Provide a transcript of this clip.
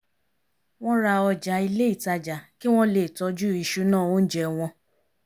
wọ́n ra ọjà ilé ìtajà kí wọ́n le tọ́jú ìṣúná oúnjẹ wọ́n